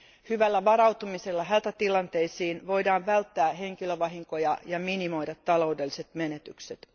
Hyvällä varautumisella hätätilanteisiin voidaan välttää henkilövahinkoja ja minimoida taloudelliset menetykset.